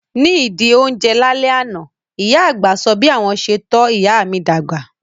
Ní ìdí ó ń jẹ lá lẹ́ àná, ìyá àgbà sọ bí àwọn ṣe tọ́ ìyá mi dàgbà